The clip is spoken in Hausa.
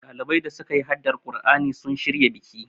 ɗalibai da suka yi haddar kur'ani sun shirya biki